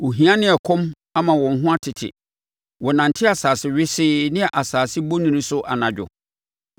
Ohia ne ɛkɔm ama wɔn ho atete, wɔnante asase wesee ne asase bonini so anadwo.